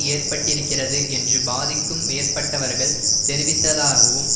ஏற்பட்டிருக்கிறது என்று பாதிக்கும் மேற்பட்டவர்கள் தெரிவித்ததாகவும்